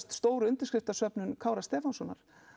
stór undirskriftarsöfnun Kára Stefánssonar